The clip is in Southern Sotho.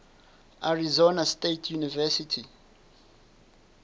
arizona state university